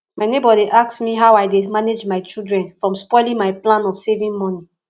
my neighbour dey ask me how i dey manage my children from spoiling my plan of saving money